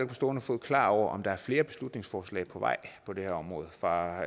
på stående fod klar over om der er flere beslutningsforslag på vej på det her område fra